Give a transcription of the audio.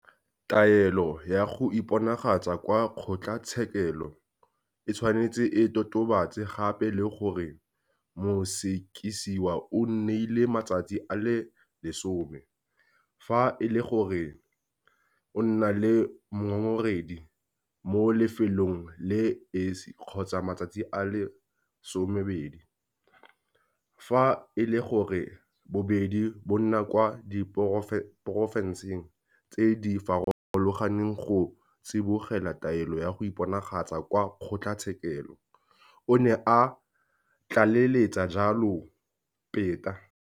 "Taelo ya go iponagatsa kwa kgotlatshekelo e tshwanetse e totobatse gape le gore mosekisiwa o neilwe matsatsi a le 10 - fa e le gore o nna le mongongoregi mo lefelong le le esi, kgotsa matsatsi a le 20 - fa e le gore bobedi bo nna kwa diporofenseng tse di farologaneng, go tsibogela taelo ya go iponagatsa kwa kgotlatshekelo," o ne a tlaleletsa jalo Peta.